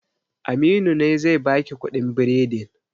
Aminu ne zai baki kuɗin biredin